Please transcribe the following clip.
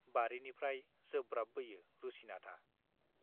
बारिनिफ्राइ जोब्राबबोयो रुसिनाथआ।